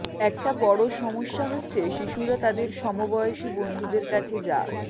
একটা বড় সমস্যা হচ্ছে শিশুরা তাদের সমবয়সী বন্ধুদের কাছে যা